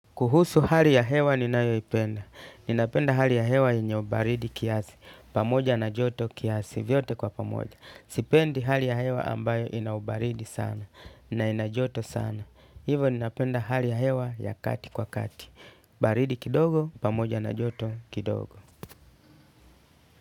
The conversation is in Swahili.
Kuhusu hali ya hewa ninayoipenda. Ninapenda hali ya hewa yenye ubaridi kiasi. Pamoja na joto kiasi vyote kwa pamoja. Sipendi hali ya hewa ambayo ina ubaridi sana. Na ina joto sana. Hivo ninapenda hali ya hewa ya kati kwa kati. Baridi kidogo, pamoja na joto kidogo.